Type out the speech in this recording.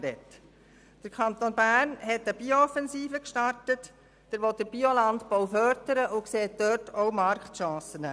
Der Kanton Bern hat eine Bio-Offensive gestartet, will den Biolandbau fördern und sieht in diesem Bereich auch Marktchancen.